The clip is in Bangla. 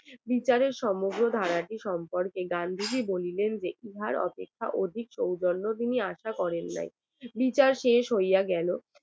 বিচারকের সমগ্র ধারাটি সম্বন্ধে গান্ধীজি বলিলেন যে ইহার অপেক্ষায় অধিক সৌজন্য তিনি আশা করেন নাই বিচার শেষ হইয়া গেল